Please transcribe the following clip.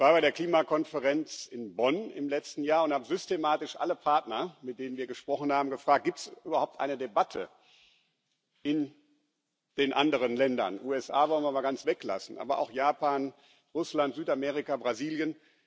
Ich war bei der Klimakonferenz in Bonn im letzten Jahr und habe alle Partner, mit denen wir gesprochen haben, systematisch gefragt Gibt es überhaupt eine Debatte in den anderen Ländern die USA wollen wir mal ganz weglassen, aber etwa in Japan, Russland, Südamerika, Brasilien?